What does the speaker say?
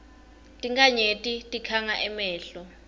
tinkhanyeti tikhanga emehlo